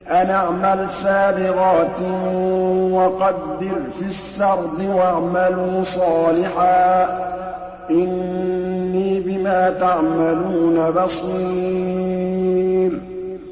أَنِ اعْمَلْ سَابِغَاتٍ وَقَدِّرْ فِي السَّرْدِ ۖ وَاعْمَلُوا صَالِحًا ۖ إِنِّي بِمَا تَعْمَلُونَ بَصِيرٌ